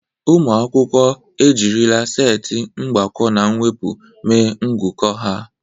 Ụmụ akwụkwọ ejirila setị mgbakọ na mwepụ mee ngụkọ ha.